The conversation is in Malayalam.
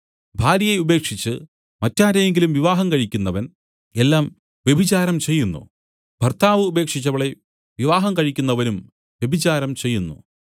ഭാര്യയെ ഉപേക്ഷിച്ച് മറ്റാരെയെങ്കിലും വിവാഹം കഴിക്കുന്നവൻ എല്ലാം വ്യഭിചാരം ചെയ്യുന്നു ഭർത്താവ് ഉപേക്ഷിച്ചവളെ വിവാഹം കഴിക്കുന്നവനും വ്യഭിചാരം ചെയ്യുന്നു